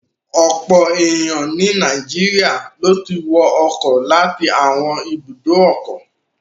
Ọ̀pọ̀ ènìyàn ni Nàìjíríà ló ti wọ ọkọ̀ láti àwọn ibùdó ọkọ̀.